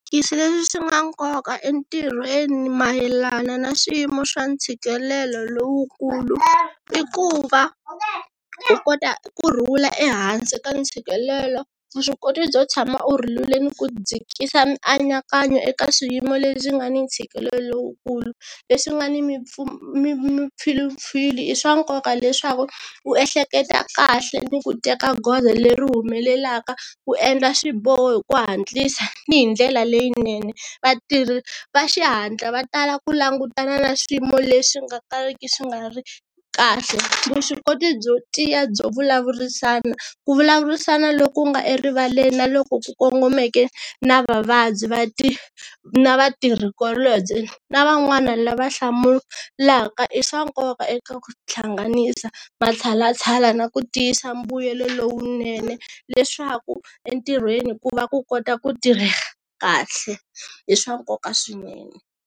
leswi swi nga nkoka entirhweni mayelana na swiyimo swa ntshikelelo lowukulu i ku va u kota ku rhula ehansi ka ntshikelelo vuswikoti byo tshama u rhulile ni ku dzhikisa mianakanyo eka swiyimo leswi nga ni ntshikelelo lowukulu, leswi nga ni mimpfilumpfilu i swa nkoka leswaku u ehleketa kahle ni ku teka goza leri humelelaka ku endla swiboho hi ku hatlisa ni hi ndlela leyinene, vatirhi va xihatla va tala ku langutana na swiyimo leswi nga tariki swi nga ri kahle, vuswikoti byo tiya byo vulavurisana, ku vulavurisana loku nga erivaleni na loku ku kongomeke na vavabyi na vatirhikulobye na van'wana lava hlamulaka i swa nkoka eka ku hlanganisa matshalatshala na ku tiyisa mbuyelo lowunene leswaku entirhweni ku va ku kota ku tirheka kahle i swa nkoka swinene.